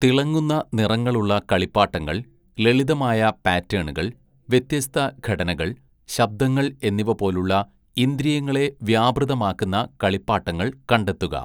തിളങ്ങുന്ന നിറങ്ങളുള്ള കളിപ്പാട്ടങ്ങൾ, ലളിതമായ പാറ്റേണുകൾ, വ്യത്യസ്ത ഘടനകൾ, ശബ്ദങ്ങൾ എന്നിവ പോലുള്ള ഇന്ദ്രിയങ്ങളെ വ്യാപൃതമാക്കുന്ന കളിപ്പാട്ടങ്ങൾ കണ്ടെത്തുക.